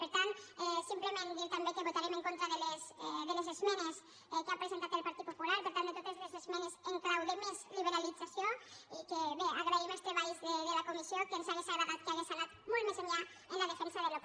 per tant simplement dir també que votarem en contra de les esmenes que ha presentat el partit popular per tant de totes les esmenes en clau de més liberalització i que bé agraïm els treballs de la comissió que ens hauria agradat que hagués anat molt més enllà en la defensa del que és propi